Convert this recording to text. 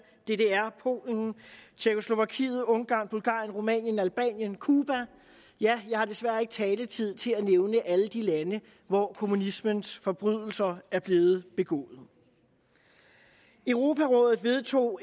ddr polen tjekkoslovakiet ungarn bulgarien rumænien albanien cuba ja jeg har desværre ikke taletid til at nævne alle de lande hvor kommunismens forbrydelser er blevet begået europarådet vedtog